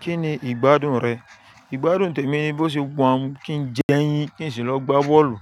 Kí ni ìgbádùn rẹ? Ìgbádùn tèmi ni bó ṣe wọ́n mú kí n jẹ ẹyin, kí n sì lọ gbá bọ́ọ̀lù.